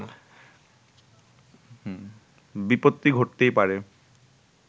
বিপত্তি ঘটতেই পারে